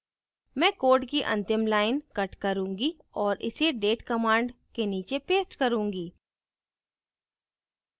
मैं code की अंतिम line cut करुँगी और इसे date command के नीचे paste करुँगी